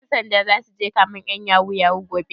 Ƴan sanda zasu je kamen ƴan yahoo yahoo gobe?